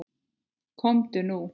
Komdu nú.